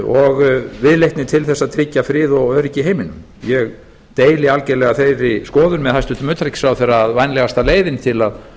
og viðleitni til þess að tryggja frið og öryggi í heiminum ég deili algerlega þeirri skoðun með hæstvirtum utanríkisráðherra að vænlegasta leiðin til